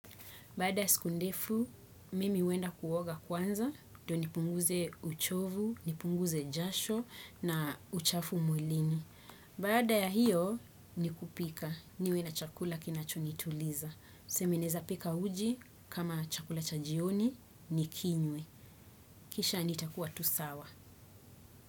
Baada ya siku ndefu, mimi huenda kuoga kwanza, ndio nipunguze uchovu, nipunguze jasho na uchafu mwilini. Baada ya hiyo, ni kupika, niwe na chakula kinachonituliza. Tuseme naeza pika uji, kama chakula cha jioni, nikinywe. Kisha nitakuwa tu sawa.